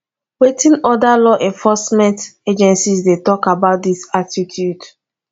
wetin oda law enforcement agencies dey talk about dis attitude